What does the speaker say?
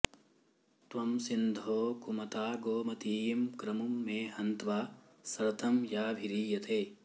त्वं सिन्धो कुमता गोमतीं क्रमुं मे हन्त्वा सरथं याभिरीयते